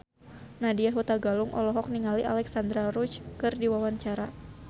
Nadya Hutagalung olohok ningali Alexandra Roach keur diwawancara